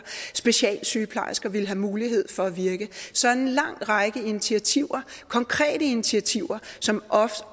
specialsygeplejersker ville have mulighed for at virke så en lang række initiativer konkrete initiativer som